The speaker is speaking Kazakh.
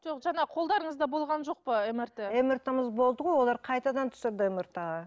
жоқ жаңа қолдарыңызда болған жоқ па мрт мрт мыз болды ғой олар қайтадан түсірді мрт ға